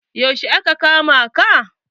Yaushe aka kama ka?